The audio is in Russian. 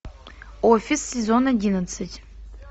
офис сезон одиннадцать